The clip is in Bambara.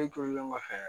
Ne tolen kɔfɛ